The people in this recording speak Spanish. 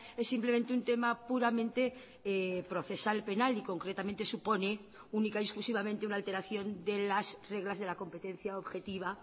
es simplemente un tema puramente procesal penal y concretamente supone única y exclusivamente una alteración de las reglas de la competencia objetiva